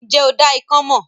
Ǹ jẹ́ o dá ikán mọ̀?